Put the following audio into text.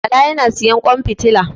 Bala ya na sayan ƙwan fitila.